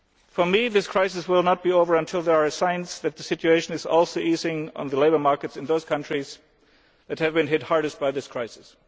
over, for me this crisis will not be over until there are signs that the situation is also easing on the labour markets in those countries that have been hit hardest by this crisis.